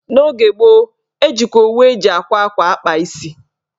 N'oge gboo, ejikwa owu eji àkwá ákwá akpa isi